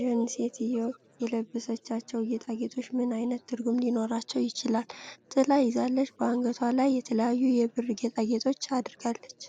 ዣንሴትየዋ የለበሰቻቸው ጌጣጌጦች ምን ዓይነት ትርጉም ሊኖራቸው ይችላል? ጥላ ይዛለች። በአንገቷ ላይ የተለያዩ የብር ጌጣጌጦች አድርጋለች።